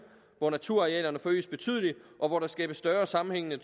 hvor naturarealerne forøges betydeligt og hvor der skabes større sammenhængende